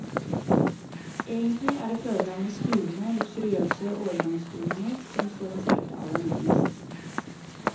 Egentlig er det fødelandets duvende, luksuriøse årgangsdoninger som står hans hjerte aller nærmest.